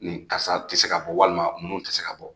Ni karisa tɛ se ka bɔ walima minnu tɛ se ka bɔ